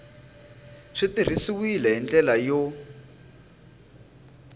swi tirhisiwile hi ndlela yo